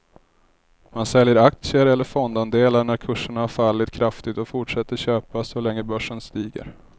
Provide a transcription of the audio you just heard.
Man säljer aktier eller fondandelar när kurserna har fallit kraftigt och fortsätter köpa så länge börsen stiger.